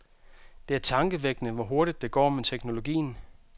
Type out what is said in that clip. Det er tankevækkende, hvor hurtigt det går med teknologien.